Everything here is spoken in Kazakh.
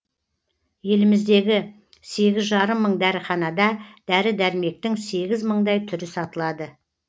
еліміздегі сегіз жарым мың дәріханада дәрі дәрмектің сегіз мыңдай түрі сатылады